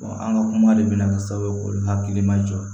an ka kuma de bɛna kɛ sababu hakili ma jɔ